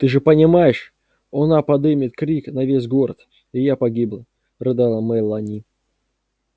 ты же понимаешь она подымет крик на весь город и я погибла рыдала мелани